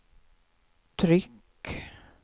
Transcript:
tryck